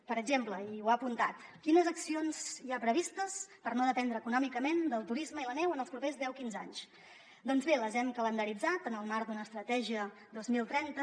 per exemple i ho ha apuntat quines accions hi ha previstes per no dependre econòmicament del turisme i la neu en els propers deu quinze anys doncs bé les hem calendaritzat en el marc d’una estratègia dos mil trenta